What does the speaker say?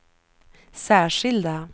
särskilda